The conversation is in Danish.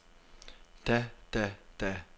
da da da